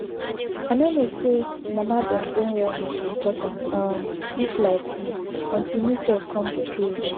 i no know say mama dem brain wellness important um reach like dis until me sef come be parent